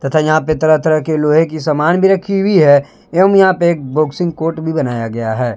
तथा यहां पे तरह तरह के लोहे की समान भी राखी हुई है एवं यहां पे एक बॉक्सिंग कोर्ट भी बनाया गया है।